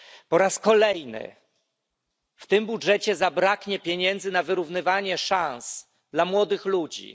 Po raz kolejny w tym budżecie zabraknie pieniędzy na wyrównywanie szans dla młodych ludzi.